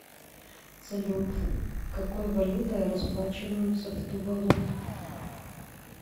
салют какой валютой расплачиваются в тувалу